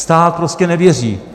Stát prostě nevěří.